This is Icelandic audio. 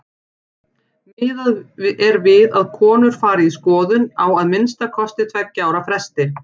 Miðað er við að konur fari í skoðun á að minnsta kosti tveggja ára fresti.